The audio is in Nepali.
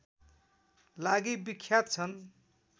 लागि विख्यात छन्